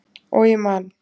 Og ég man.